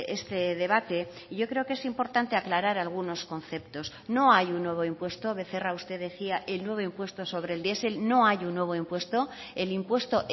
este debate y yo creo que es importante aclarar algunos conceptos no hay un nuevo impuesto becerra usted decía el nuevo impuesto sobre el diesel no hay un nuevo impuesto el impuesto